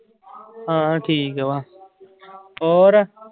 ਹਾਂ ਠੀਕ ਵਾ ਹੋਰ